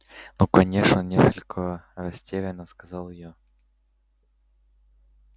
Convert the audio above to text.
ну конечно несколько растеряно сказала я